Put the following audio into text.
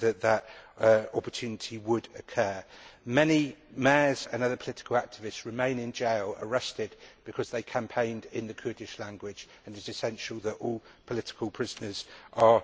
that an opportunity would occur. Many mayors and political activists remain in jail, arrested because they campaigned in the Kurdish language, and it is essential that all political prisoners are